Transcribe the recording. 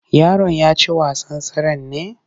Yaron ya ci wasan tseren ne?